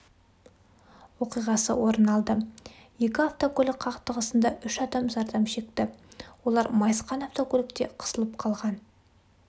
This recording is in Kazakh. оқиғасы орын алды екі автокөлік қақтығысында үш адам зардап шекті олар майысқан автокөлікте қысылып қалған